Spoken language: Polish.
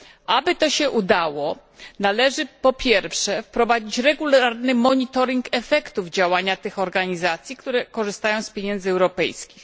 Aby to się udało, należy po pierwsze wprowadzić regularny monitoring efektów działania tych organizacji, które korzystają z pieniędzy europejskich.